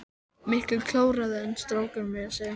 Miklu klárari en strákar meira að segja.